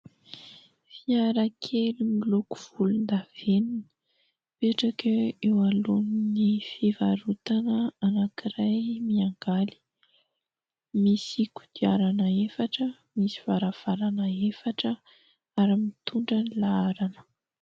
Fiarakely miloko volondavenona, mipetraka eo alohan'ny fivarotana anankiray "Miangaly" ; misy kodiarana efatra, misy varavarana efatra ary mitondra laharana.